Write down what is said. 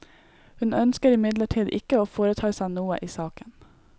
Hun ønsker imidlertid ikke å foreta seg noe i saken.